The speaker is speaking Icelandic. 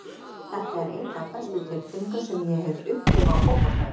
Þetta er ein af bestu tilfinningum sem ég hef upplifað á fótboltavelli.